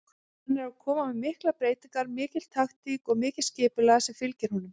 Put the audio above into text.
Hann er að koma með miklar breytingar, mikil taktík og mikið skipulag sem fylgir honum.